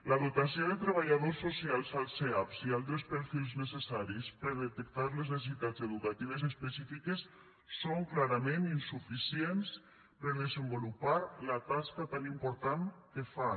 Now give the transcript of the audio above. la dotació de treballadors socials als eap i altres perfils necessaris per detectar les necessitats educatives específiques és clarament insuficient per desenvolupar la tasca tan important que fan